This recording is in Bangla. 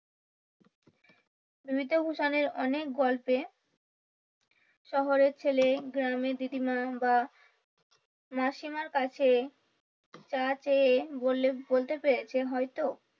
বিভীতভূষণের অনেক গল্পে শহরের ছেলে গ্ৰামে দিদিমা বা মাসিমার কাছে চা চেয়ে বললে বলতে পেরেছে হয়তো,